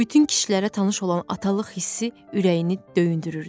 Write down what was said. Bütün kişilərə tanış olan atalıq hissi ürəyini döyündürürdü.